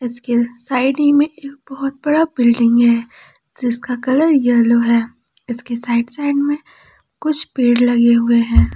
इसके साइड ही में बहुत बड़ा एक बिल्डिंग है जिसका कलर येलो है इसके साइड साइड में कुछ पेड़ लगे हुए हैं।